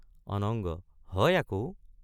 .অনঙ্গ—হয় আকৌ।